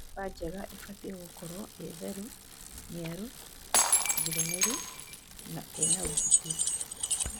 Nyũmba njega ĩbatie kũkorwo ĩtheru ,niaru ,njiganĩru na ĩnaũgitĩru.